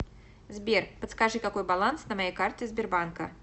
сбер подскажи какой баланс на моей карте сбербанка